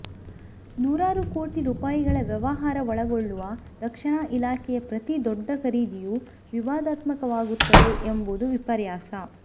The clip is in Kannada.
ನೂರಾರು ಕೋಟಿ ರೂಪಾಯಿಗಳ ವ್ಯವಹಾರ ಒಳಗೊಳ್ಳುವ ರಕ್ಷಣಾ ಇಲಾಖೆಯ ಪ್ರತೀ ದೊಡ್ಡ ಖರೀದಿಯೂ ವಿವಾದಾತ್ಮಕವಾಗುತ್ತದೆ ಎಂಬುದು ವಿಪರ್ಯಾಸ